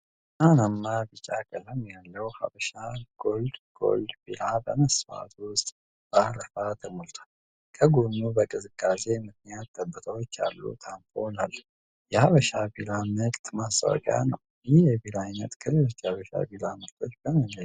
ብርሃናማ ቢጫ ቀለም ያለው ሀበሻ ኮልድ ጎልድ ቢራ በመስታወት ውስጥ በአረፋ ተሞልቷል። ከጎኑ በቅዝቃዜ ምክንያት ጠብታዎች ያሉት አምፖል አለ። የሀበሻ ቢራ ምርት ማስታወቂያ ነው። ይህ የቢራ ዓይነት ከሌሎች የሀበሻ ቢራ ምርቶች በምን ይለያል?